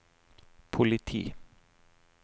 politi